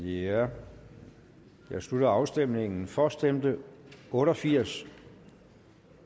jeg slutter afstemningen for stemte otte og firs